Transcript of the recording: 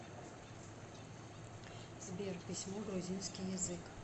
сбер письмо грузинский язык